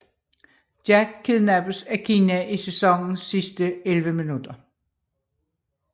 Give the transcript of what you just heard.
Jack kidnappes af Kina i sæsonens sidste 11 minutter